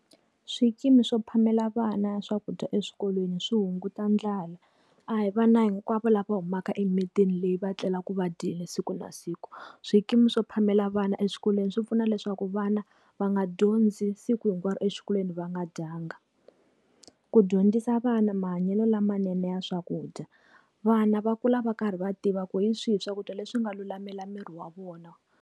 Swikimi swo phamela vana swakudya eswikolweni swi hunguta ndlala. A hi vana hinkwavo lava humaka emitini leyi va tlelaku va dyile siku na siku. Swikimi swo phamela vana eswikolweni swi pfuna leswaku vana va nga dyondzi siku hinkwaro exikolweni va nga dyanga. Ku dyondzisa vana mahanyelo lamanene ya swakudya. Vana va kula va karhi va tiva ku hi swihi swakudya leswi nga lulamela miri wa vona.